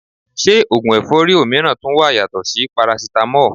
Se ogun efori omiran tun wa yato si Parasitamo?